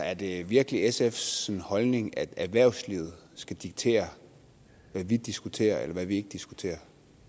er det virkelig sfs holdning at erhvervslivet skal diktere hvad vi diskuterer eller ikke diskuterer